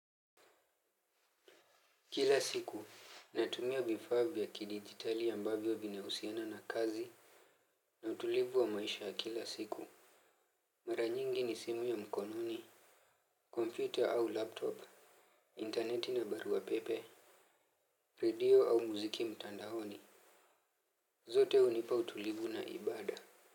Kila siku, natumia vifaa vya kidigitali ambavyo vinahusiana na kazi. Na utulivu wa maisha ya kila siku mara nyingi ni simu ya mkononi Computer au laptop Interneti na barua pepe radio au muziki mtandaoni. Zote hunipa utulivu na ibada.